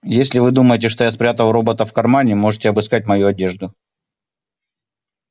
если вы думаете что я спрятал робота в кармане можете обыскать мою одежду